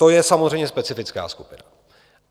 To je samozřejmě specifická skupina.